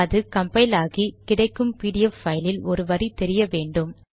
அது கம்பைல் ஆகி கிடைக்கும் பிடிஎஃப் பைலில் ஒரு வரி தெரிய வேண்டும்